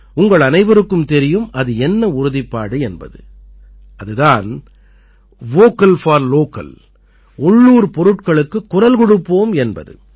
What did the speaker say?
உங்களனைவருக்கும் தெரியும் அது என்ன உறுதிப்பாடு என்பது அது தான் வோக்கல் போர் லோக்கல் உள்ளூர் பொருட்களுக்குக் குரல் கொடுப்போம் என்பது